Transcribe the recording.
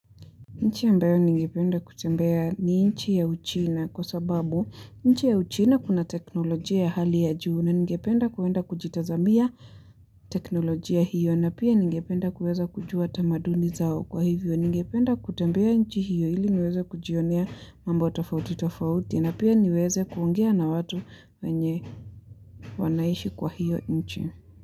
Nchi ambayo ningependa kutembea ni nchi ya uchina kwa sababu nchi ya uchina kuna teknolojia ya hali ya juu na ningependa kuwenda kujitazamia teknolojia hiyo na pia ningependa kuweza kujua tamaduni zao kwa hivyo ningependa kutembea nchi hiyo ili niweze kujionea mambo tofauti tofauti na pia niweze kuongea na watu wenye wanaishi kwa hiyo nchi.